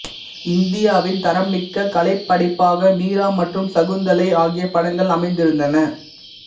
இந்தியாவின் தரம்மிக்க கலைப்படைப்பாக மீரா மற்றும் சகுந்தலை ஆகிய படங்கள் அமைந்திருந்தன